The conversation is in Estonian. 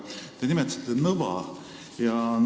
Te nimetasite Nõva.